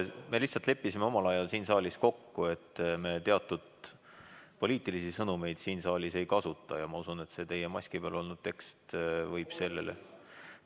Me lihtsalt leppisime omal ajal siin saalis kokku, et teatud poliitilisi sõnumeid me siin saalis ei kasuta, ja ma usun, et teie maski peal olnud tekst võib sellele ...